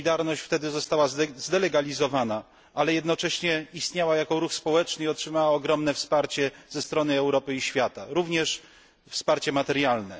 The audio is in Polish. Solidarność została wtedy zdelegalizowana, ale jednocześnie istniała jako ruch społeczny i otrzymała ogromne wsparcie ze strony Europy i świata, również wsparcie materialne.